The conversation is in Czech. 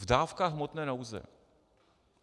V dávkách hmotné nouze.